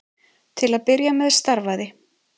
Til að byrja með starfaði